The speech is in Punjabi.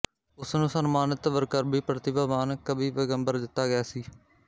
ਉਸ ਨੂੰ ਸਨਮਾਨਿਤ ਵਰਕਰਵੀ ਪ੍ਰਤਿਭਾਵਾਨ ਕਵੀਪੈਗੰਬਰ ਦਿੱਤਾ ਗਿਆ ਸੀ